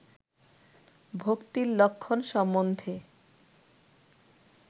ভক্তির লক্ষণ সম্বন্ধে